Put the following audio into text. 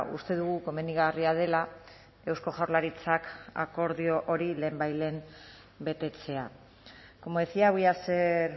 uste dugu komenigarria dela eusko jaurlaritzak akordio hori lehenbailehen betetzea como decía voy a ser